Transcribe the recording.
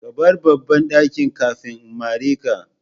Ka bar babban dakin kafin in mare ka.